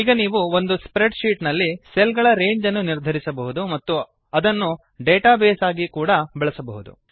ಈಗ ನೀವು ಒಂದು ಸ್ಪ್ರ್ರೆಡ್ ಶೀಟ್ ನಲ್ಲಿ ಸೆಲ್ ಗಳ ರೇಂಜ್ ಅನ್ನು ನಿರ್ಧರಿಸಬಹುದು ಮತ್ತು ಅದನ್ನು ಡೇಟಾ ಬೇಸ್ ಆಗಿ ಬಳಸಲೂಬಹುದು